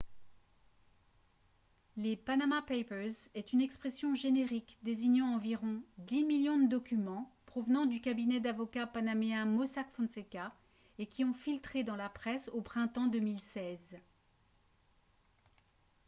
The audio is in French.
les « panama papers » est une expression générique désignant environ dix millions de documents provenant du cabinet d'avocats panaméen mossack fonseca et qui ont filtré dans la presse au printemps 2016